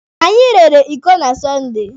Anyị rere iko na Sọnde.